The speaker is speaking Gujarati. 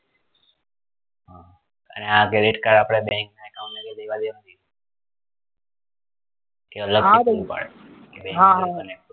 હા credit card આપડે bank ને develop કરીએ હા હા